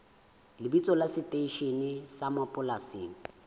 lebitso la seteishene sa mapolesa